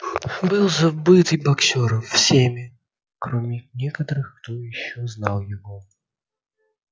был забыт и боксёр всеми кроме некоторых кто ещё знал его